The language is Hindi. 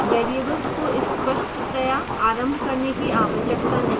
variables को स्पष्टतया आरंभ करने की आवश्यकता नहीं है